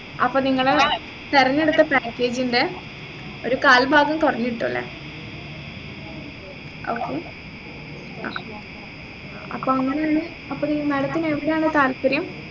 അപ്പൊ നിങ്ങള് തെരഞ്ഞെടുത്ത package ന്റെ ഒരു കാൽഭാഗം കൊറഞ്ഞിട്ട ഉള്ളെ okay അപ്പൊ അപ്പൊ അങ്ങനാണ് madam ത്തിനു എവിടാണ് താല്പര്യം